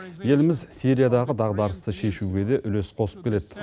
еліміз сириядағы дағдарысты шешуге де үлес қосып келеді